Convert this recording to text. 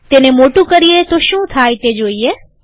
તેને મોટું કરીએ તો શું થાય છે તે જોઈએ